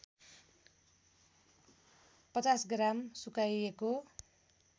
५० gram सुकाइएको